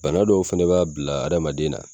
Bana dɔw fɛnɛ b'a bila adamaden na